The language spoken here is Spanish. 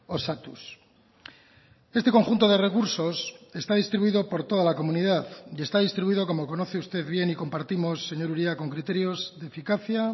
osatuz este conjunto de recursos está distribuido por toda la comunidad y está distribuido como conoce usted bien y compartimos señor uria con criterios de eficacia